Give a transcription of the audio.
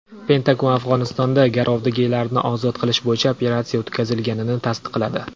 Pentagon Afg‘onistonda garovdagilarni ozod qilish bo‘yicha operatsiya o‘tkazilganini tasdiqladi.